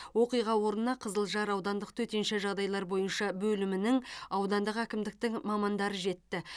оқиға орнына қызылжар аудандық төтенше жағдайлар бойынша бөлімінің аудандық әкімдіктің мамандары жетті